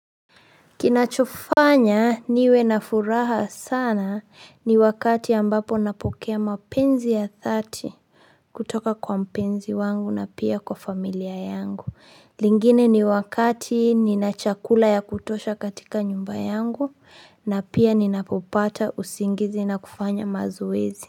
Kinachofanya niwe na furaha sana ni wakati ambapo napokea mapenzi ya thati kutoka kwa mpenzi wangu na pia kwa familia yangu. Lingine ni wakati nina chakula ya kutosha katika nyumba yangu na pia ninapopata usingizi na kufanya mazoezi.